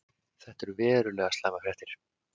Þetta eru verulega slæmar fréttir.